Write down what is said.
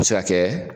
A bɛ se ka kɛ